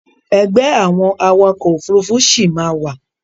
Ẹgbẹ́ àwọn awakọ̀ Òfurufú sì máa wà